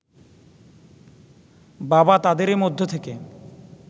বাবা তাদেরই মধ্য থেকে